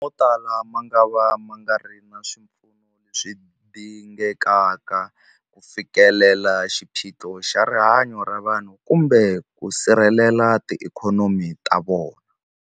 Motala mangava ma nga ri na swipfuno leswi dingekaka ku fikelela xiphiqo xa rihanyu ra vanhu kumbe ku sirhelela tiikhonomi ta vona.